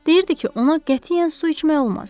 Deyirdi ki, ona qətiyyən su içmək olmaz.